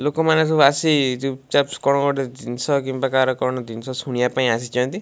ଲୋକମାନେ ସବୁ ଆସି ଚୁପ୍ ଚାପ କଣ ଗୋଟେ ଜିନ୍ସ କିମ୍ୱା କହାର କଣ ଜିନ୍ସ ଶୁଣିବା ପାଇଁ ଆସିଛନ୍ତି।